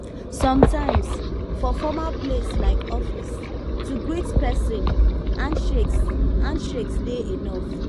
sometimes for formal place like office to greet person hand shakes hand shakes dey enough